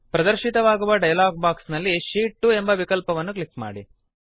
ಪ್ರದರ್ಶಿತವಾಗುವ dialogue box ನಲ್ಲಿನ sheet 2 ಎಂಬ ವಿಕಲ್ಪವನ್ನು ಕ್ಲಿಕ್ ಮಾಡಿ